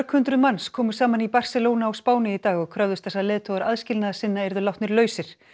hundruð manns komu saman í Barcelona á Spáni í dag og kröfðust þess að leiðtogar aðskilnaðarsinna yrðu látnir lausir